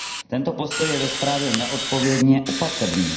Tento postoj je ve zprávě neodpovědně opatrný.